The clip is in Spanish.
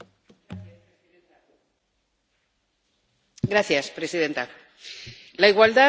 Señora presidenta, la igualdad debería ser el eje central de las políticas europeas.